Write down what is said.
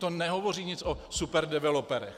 To nehovoří nic o superdeveloperech.